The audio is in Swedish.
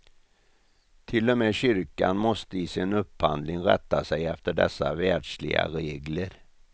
Till och med kyrkan måste i sin upphandling rätta sig efter dessa världsliga regler.